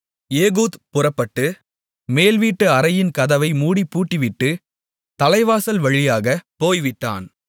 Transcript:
Ehud புறப்பட்டு மேல் வீட்டு அறையின் கதவை மூடிப் பூட்டிவிட்டு தலைவாசல் வழியாகப் போய்விட்டான்